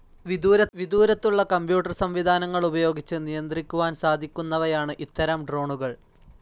വിദൂരത്തുള്ള computer സംവിധാനങ്ങളുപയോഗിച്ച് നിയന്ത്രിക്കുവാൻ സാധിക്കുന്നവയാണ് ഇത്തരം ഡ്രോണുകൾ